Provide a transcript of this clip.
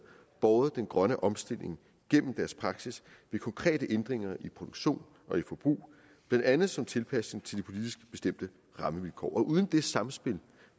båret den grønne omstilling gennem deres praksis ved konkrete ændringer i produktion og i forbrug blandt andet som en tilpasning til de politisk bestemte rammevilkår og uden det samspil